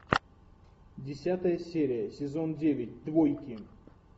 десятая серия сезон девять двойки